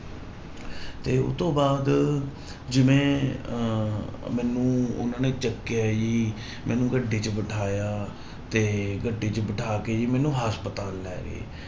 ਤੇ ਉਹ ਤੋਂ ਬਾਅਦ ਜਿਵੇਂ ਅਹ ਮੈਨੂੂੰ ਉਹਨਾਂ ਨੇ ਚੁੱਕਿਆ ਜੀ ਮੈਨੂੰ ਗੱਡੀ ਚ ਬਿਠਾਇਆ ਤੇ ਗੱਡੀ ਚ ਬਿਠਾ ਕੇ ਜੀ ਮੈਨੂੰ ਹਸਪਤਾਲ ਲੈ ਗਏ।